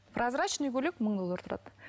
прозрачный көйлек мың доллар тұрады